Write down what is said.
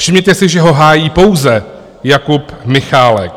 Všimněte si, že ho hájí pouze Jakub Michálek.